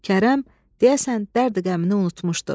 Kərəm, deyəsən dərdü-qəmini unutmuşdu.